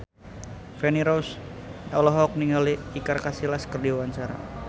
Feni Rose olohok ningali Iker Casillas keur diwawancara